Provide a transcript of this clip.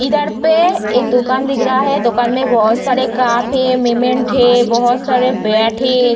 इधर पे एक दुकान दिख रहा है दुकान में बहोत सारे काप मेमेन्ट है बहोत सारे बैट है।